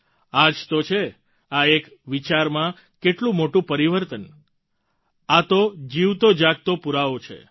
આ જ તો છે આ એક વિચારમાં કેટલું મોટું પરિવર્તન આ તો જીવતોજાગતો પૂરાવો છે